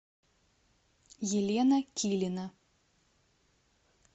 елена килина